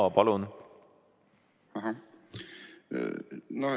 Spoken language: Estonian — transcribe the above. Jaa, palun!